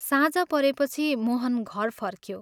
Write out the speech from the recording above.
साँझ परेपछि मोहन घर फर्क्यो